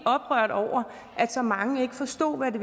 oprørt over at så mange ikke forstod hvad